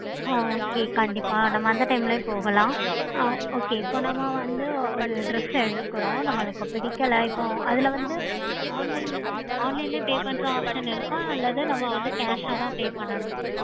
ஆஹ் கண்டிப்பா நம்ம அந்த time லேயே போகலாம்